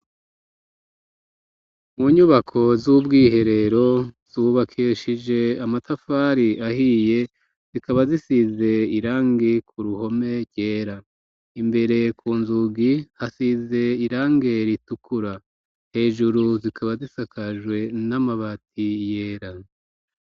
Mu nyubako z'ubwiherero zubakishije amatafari ahiye zikaba zisize irangi ku ruhome ryera. imbere ku nzugi hasize irange ritukura hejuru zikaba zisakajwe n'amabati yera.